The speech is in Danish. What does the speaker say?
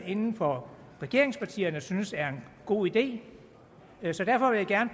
inden for regeringspartierne synes er en god idé så derfor vil jeg gerne